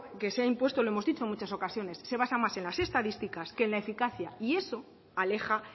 que se ha impuesto lo hemos dicho en muchas ocasiones se basa más en las estadísticas que en la eficacia y eso aleja